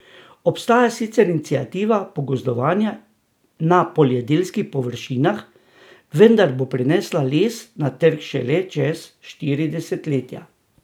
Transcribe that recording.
Obstaja sicer iniciativa pogozdovanja na poljedelskih površinah, vendar bo prinesla les na trg šele čez štiri desetletja.